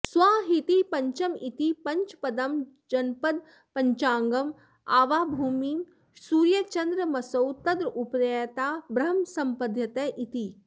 स्वाहेति पञ्चममिति पञ्चपदं जपन्पञ्चाङ्गं द्यावाभूमी सूर्याचन्द्रमसौ तद्रूपतया ब्रह्म सम्पद्यत इति